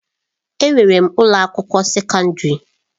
Enwere m ụlọ akwụkwọ sekọndrị.